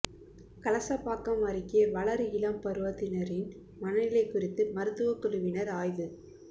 கலசபாக்கம் அருகே வளர் இளம் பருவத்தினரின் மனநிலை குறித்து மருத்துவ குழுவினர் ஆய்வு